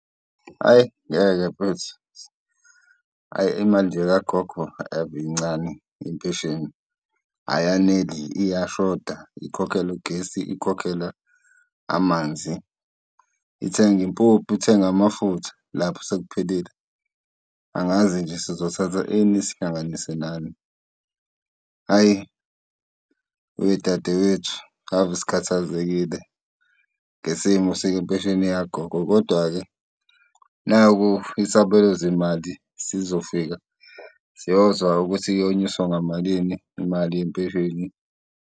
Hhayi ngeke mfethu, hhayi imali nje kagogo ave incane, impesheni. Ayaneli, iyashoda, ikhokhela ugesi, ikhokhela amanzi, ithenga impuphu, ithenga amafutha lapho sekuphelile. Angazi nje sizothatha ini sihlanganise nani. Hhayi wedadewethu, ave sikhathazekile ngesimo sempesheni yagogo. Kodwa-ke naku isabelo zimali sizofika siyozwa ukuthi iyonyuswa ngamalini imali yempesheni.